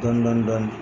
Dɔɔnin dɔɔnin dɔɔnin